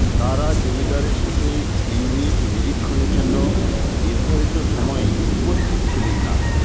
তারা জমিদারের সাথে ইউনিট নিরীক্ষণের জন্য নির্ধারিত সময়ে উপস্থিত ছিলেন না